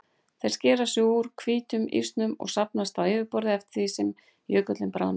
Þeir skera sig úr hvítum ísnum og safnast á yfirborðið eftir því sem jökullinn bráðnar.